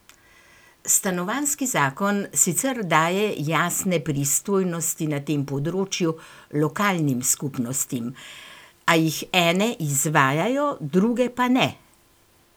Stanovanjski zakon sicer daje jasne pristojnosti na tem področju lokalnim skupnostim, a jih ene izvajajo, druge pa ne.